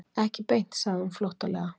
Ekki beint, sagði hún flóttalega.